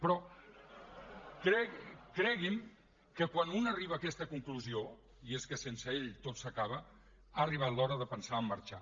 però cregui’m que quan un arriba a aquesta conclusió i és que sense ell tot s’acaba ha arribat l’hora de pensar a marxar